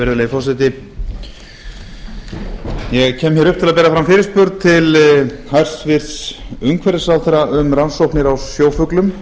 virðulegi forseti ég kem hér upp til að bera fram fyrirspurn til hæstvirts umhverfisráðherra um rannsóknir á sjófuglum